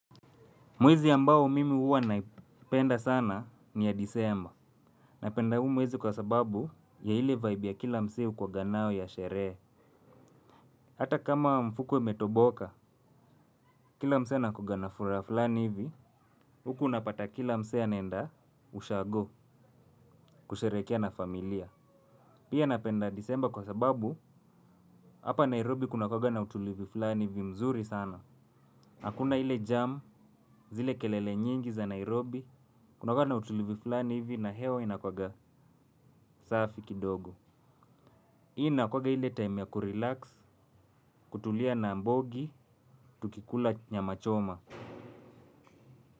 Mwezi ambao mimi huwa naipenda sana ni ya disemba. Napenda hu mwezi kwa sababu ni ya ile vibe ya kila msee hukuwaga nayo ya sherehe. Hata kama mfuko imetoboka, kila msee anakuaga na furaha fulani hivi, huku unapata kila mse anaenda ushago kusherehekea na familia. Pia napenda disemba kwa sababu, hapa Nairobi kuna kuaga na utulivi fulani hivi mzuri sana. Hakuna ile jam, zile kelele nyingi za Nairobi, Kuna kuwa na utulivi fulani hivi na hewa inakuwaga safi kidogo. Inakuwaga ile time ya kurelax. Kutulia na mbogi tukikula nyama choma.